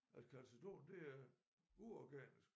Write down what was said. At calcedon det er uorganisk